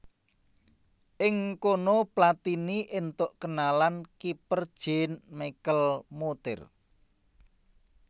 Ing kono Platini éntuk kenalan kiper Jean Michel Moutier